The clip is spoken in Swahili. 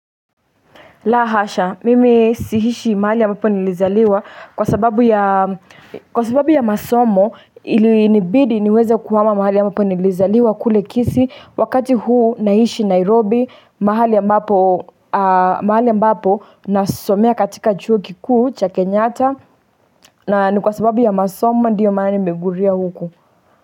La hasha, mimi siishi mahali ambapo nilizaliwa kwa sababu ya masomo ilinibidi niweze kuhama mahali ambapo nilizaliwa kule Kisii. Wakati huu naishi Nairobi, mahali ambapo nasomea katika chuo kikuu cha Kenyata na ni kwa sababu ya masomo ndiyo maana nimeguria huku.